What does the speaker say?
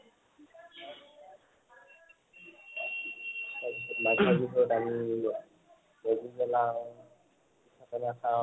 তাৰ পিছত মাঘৰ বিহুত আমি মেজি জ্বলাও, পিঠা পনা খাওঁ